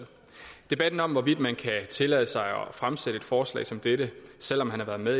debatten om hvorvidt man kan tillade sig at fremsætte et forslag som dette selv om man har været med